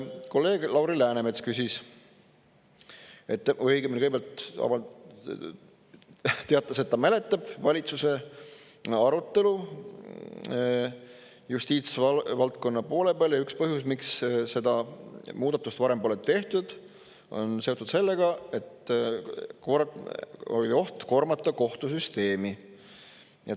Kolleeg Lauri Läänemets küsis või õigemini kõigepealt teatas, et ta mäletab valitsuse arutelu justiitsvaldkonna poole peal ja üks põhjus, miks seda muudatust varem pole tehtud, on seotud sellega, et oli oht koormata kohtusüsteemi.